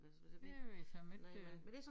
Det ved jeg fandeme ikke øh